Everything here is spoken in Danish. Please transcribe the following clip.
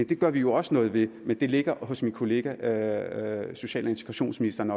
det gør vi jo også noget ved men det ligger hos min kollega social og integrationsministeren